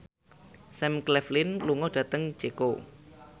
Sam Claflin lunga dhateng Ceko